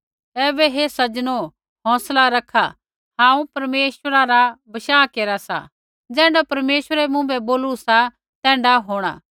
ऐबै हे सज्जनो हौंसला रखा हांऊँ परमेश्वरै री प्रतीति केरा सा ज़ैण्ढा परमेश्वरै मुँभै बोलू सा तैण्ढा होंणा